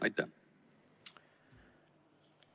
Aitäh!